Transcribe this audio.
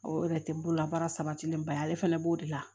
O yɛrɛ tɛ bololabaara sabatilenba ye ale fɛnɛ b'o de la